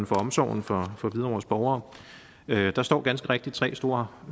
for omsorgen for for hvidovres borgere der står ganske rigtigt tre store